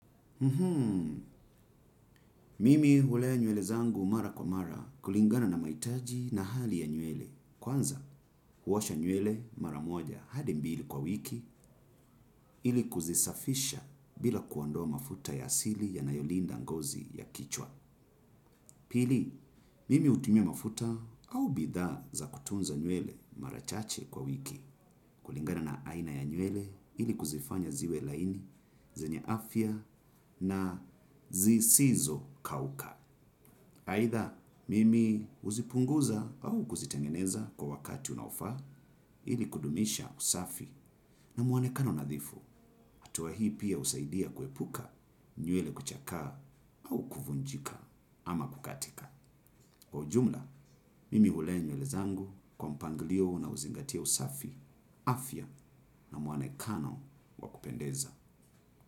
Mimi hulea nywele zangu mara kwa mara kulingana na mahitaji na hali ya nywele. Kwanza, huosha nywele mara moja hadi mbili kwa wiki ili kuzisafisha bila kuondoa mafuta ya asili yanayolinda ngozi ya kichwa. Pili, mimi hutumia mafuta au bidhaa za kutunza nywele mara chache kwa wiki kulingana na aina ya nywele ili kuzifanya ziwe laini, zenye afya na zisizokauka. Aidha, mimi huzipunguza au kuzitengeneza kwa wakati unaofaa ili kudumisha usafi na mwonekano nadhifu. Hatua hii pia husaidia kuepuka nywele kuchakaa au kuvunjika ama kukatika. Kwa ujumla, mimi hulea nywele zangu kwa mpangilio na huzingatia usafi. Afya na mwonekano wa kupendeza.